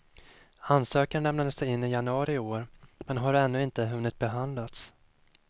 Ansökan lämnades in i januari i år, men har ännu inte hunnit behandlas.